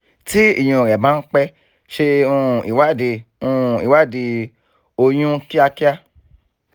tí ìyún rẹ bá ń pẹ́ ṣe um ìwádìí um ìwádìí oyún kíákíá